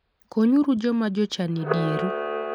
Konyuru joma jochan e dieru.